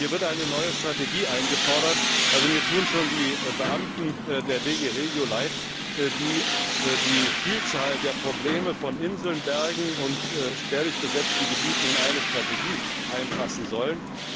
Hier wird eine neue Strategie eingefordert mir tun schon die Beamten der GD REGIO leid, die die Vielzahl der Probleme von Inseln, Bergen und spärlich besiedelten Gebieten in eine Strategie einfassen sollen.